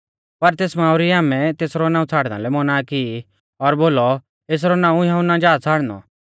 पर तेस मांऊ री आमै तेसरौ नाऊं छ़ाड़ना लै मौना की और बोलौ एसरौ नाऊं यहुन्ना जा छ़ाड़नौ